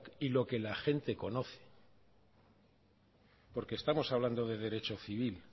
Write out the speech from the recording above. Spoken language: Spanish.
y lo que la gente conoce porque estamos hablando de derecho civil